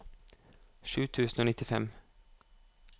sju tusen og nittifem